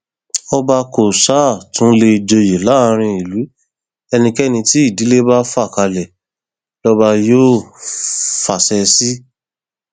ọba kó ṣáà tún lè joyè láàrin ìlú ẹnikẹni tí ìdílé bá fà kalẹ lọba yóò fàṣẹ sí